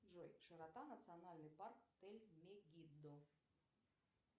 джой широта национальный парк тель мегиддо